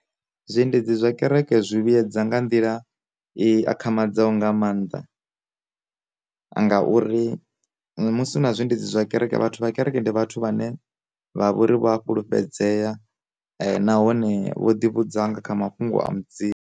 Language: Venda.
Zwi endedzi zwa kereke zwi vhuedza nga nḓila i akhamadzaho nga maanḓa. Ngauri musi na zwiendedzi zwa kereke vhathu vha kereke ndi vhathu vhane vha vhori vho a fhulufhedzea nahone vho ḓi vhudza nga kha mafhungo a mudzimu.